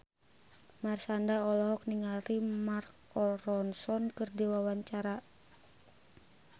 Marshanda olohok ningali Mark Ronson keur diwawancara